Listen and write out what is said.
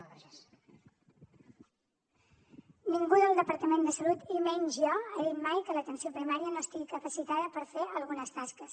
ningú del departament de salut i menys jo ha dit mai que l’atenció primària no estigui capacitada per fer algunes tasques